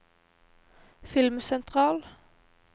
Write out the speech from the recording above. filmsentral